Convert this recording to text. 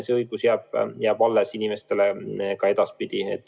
See õigus jääb inimestele ka edaspidi.